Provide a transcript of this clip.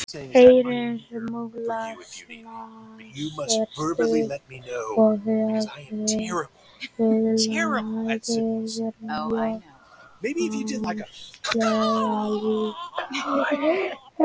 Eyru múlasnans eru stutt og höfuðlagið er mjóslegið líkt og á hesti.